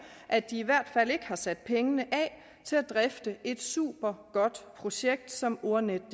at de i hvert fald ikke har sat pengene af til at drifte et supergodt projekt som ordnetdk